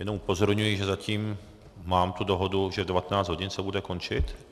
Jenom upozorňuji, že zatím mám tu dohodu, že v 19 hodin se bude končit.